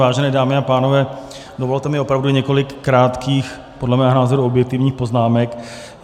Vážené dámy a pánové, dovolte mi opravdu několik krátkých, podle mého názoru objektivních poznámek.